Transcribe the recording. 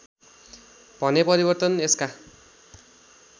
भने परिवर्तन यसका